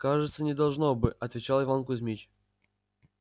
кажется не должно бы отвечал иван кузмич